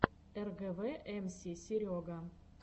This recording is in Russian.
эргэвэ эмси серега